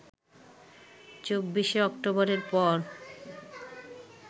২৪ শে অক্টোবরের পর